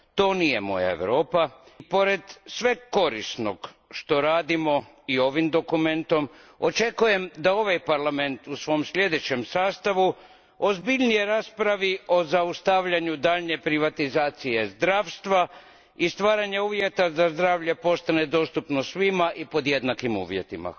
To nije moja Europa. Pored svega korisnog što radimo i ovim dokumentom, očekujem da ovaj Parlament u svom sljedećem sastavu ozbiljnije raspravi o zaustavljanju daljnje privatizacije zdravstva i stvaranju uvjeta da zdravlje postane dostupno svima i pod jednakim uvjetima.